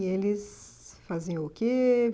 E eles faziam o quê?